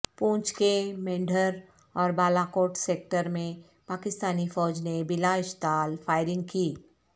پونچھ کے مینڈھر اور بالاکوٹ سیکٹر میں پاکستانی فوج نے بلا اشتعال فائرنگ کی